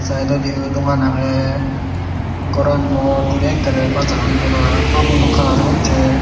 sydodi yo dogan agey goran bor guri ekkere bajaran pura hamuno kalar gocche.